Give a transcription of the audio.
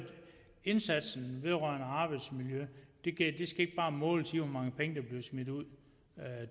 indsatsen vedrørende arbejdsmiljø skal ikke bare måles på hvor mange penge der bliver smidt ud